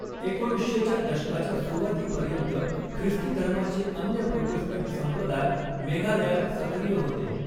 एकोणीसशे च्या दशकाच्या सुरुवातीपर्यंत, ख्रिस्तीधर्माचे अन्य प्रोटेस्टंट संप्रदाय मेघालयात सक्रिय होते.